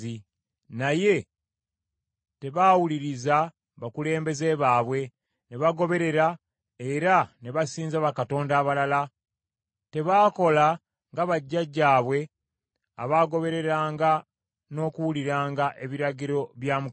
Naye tebaawuliriza bakulembeze baabwe ne bagoberera era ne basinza bakatonda abalala. Tebaakola nga bajjajjaabwe abaagobereranga n’okuwuliranga ebiragiro bya Mukama .